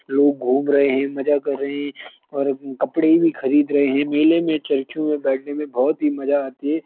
लोग घूम रहे हैं मजा कर रहे हैं ओर कपड़े भी खरीद रहे हैं मेले मे चर्खियों मे बेठने मे बहुत ही मजा आती है।